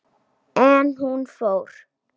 En hún fór.